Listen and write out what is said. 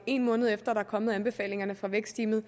en måned efter at anbefalingerne fra vækstteamet